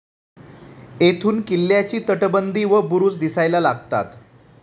येथून किल्ल्याची तटबंदी व बुरुज दिसायला लागतात.